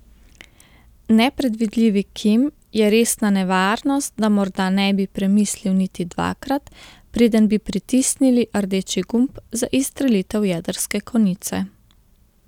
Nepredvidljivi Kim je resna nevarnost, da morda ne bi premislil niti dvakrat, preden bi pritisnili rdeči gumb za izstrelitev jedrske konice.